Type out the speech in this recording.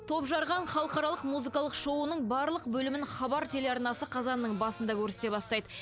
топжарған халықаралық музыкалық шоуының барлық бөлімін хабар телеарнасы қазанның басында көрсете бастайды